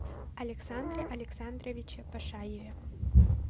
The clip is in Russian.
александре александровиче пашаеве